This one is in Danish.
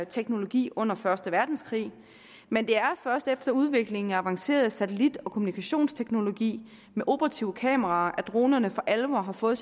teknologi under første verdenskrig men det er først efter udviklingen af avanceret satellit og kommunikationsteknologi med operative kameraer at dronerne for alvor har fået